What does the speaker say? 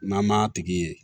N'an m'a tigi ye